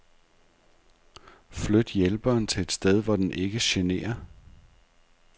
Flyt hjælperen til et sted hvor den ikke generer.